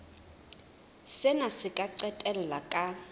sena se ka qetella ka